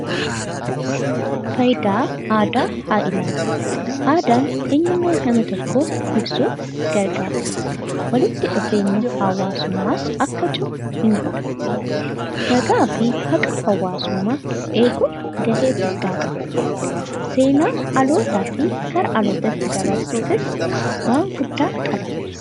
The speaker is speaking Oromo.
Faayidaa aadaa haa ilaallu. Aadaan eenyummaa nama tokko ibsuuf gargaara. Walitti dhufeenyi hawwaasummaas akka cimu ni godha. Nagaa fi haqa hawwaasummaa eeguuf ga'ee guddaa qaba. Seenaa dhalootaa dhalootatti dabarsuufis waan guddaa qabata.